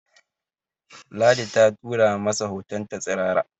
Ladi ta tura masa hotonta tsirara